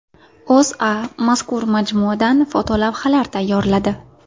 O‘zA mazkur majmuadan fotolavhalar tayyorladi .